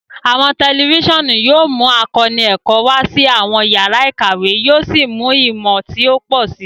Awọn tẹlifisiọnu yóò mú àkóónú ẹkọ wa sí awọn yàrá ìkàwé, yóò sì mú ìmọ ti o pọ si.